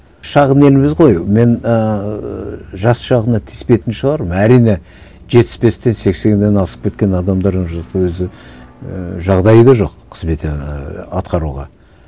шағын елміз ғой мен ііі жас жағына тиіспейтін шығармын әрине жетпіс бестен сексеннен асып кеткен адамдар уже өзі ііі жағдайы да жоқ қызмет ііі атқаруға